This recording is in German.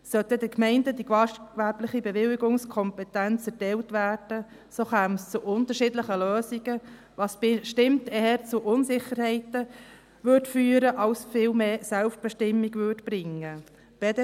Sollte den Gemeinden die gastgewerbliche Bewilligungskompetenz erteilt werden, so käme es zu unterschiedlichen Lösungen, was bestimmt eher zu Unsicherheiten führen als viel mehr Selbstbestimmung zu bringen würde.